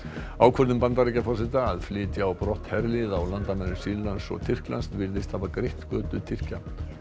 ákvörðun Bandaríkjaforseta að flytja á brott herlið á landamærum Sýrlands og Tyrklands virðist hafa greitt götu Tyrkja